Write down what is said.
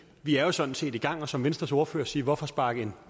vi er sådan set i gang og som venstres ordfører siger hvorfor sparke